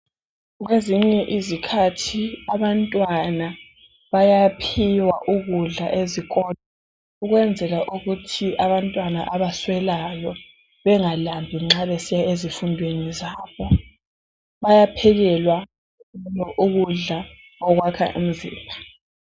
Kwezinye izikhathi abantwana bayaphiwa ukudla ezikolo ukwenzela ukuthi abantwana abaswelayo bengalambi nxa besiya ezifundweni zabo, bayaphekelwa ukudla okwakha umzimba.